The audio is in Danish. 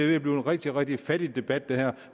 ved at blive en rigtig rigtig fattig debat